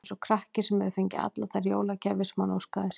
Eins og krakki, sem hefur fengið allar þær jólagjafir sem hann óskaði sér.